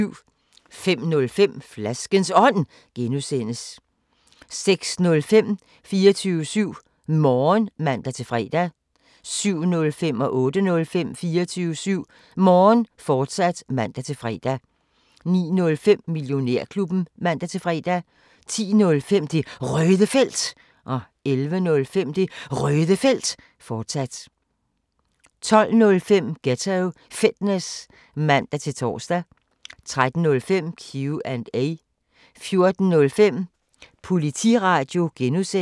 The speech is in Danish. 05:05: Flaskens Ånd (G) 06:05: 24syv Morgen (man-fre) 07:05: 24syv Morgen, fortsat (man-fre) 08:05: 24syv Morgen, fortsat (man-fre) 09:05: Millionærklubben (man-fre) 10:05: Det Røde Felt 11:05: Det Røde Felt, fortsat 12:05: Ghetto Fitness (man-tor) 13:05: Q&A 14:05: Politiradio (G)